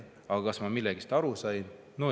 Aga kas ma millestki aru sain?